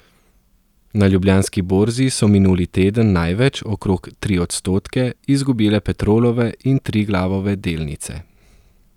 Na Ljubljanski borzi so minuli teden največ, okrog tri odstotke, izgubile Petrolove in Triglavove delnice.